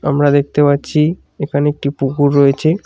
আমরা দেখতে পারছি এখানে একটি পুকুর রয়েছে।